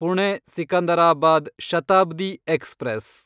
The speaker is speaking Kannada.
ಪುಣೆ ಸಿಕಂದರಾಬಾದ್ ಶತಾಬ್ದಿ ಎಕ್ಸ್‌ಪ್ರೆಸ್